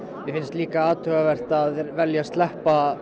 mér finnst líka athugavert að velja að sleppa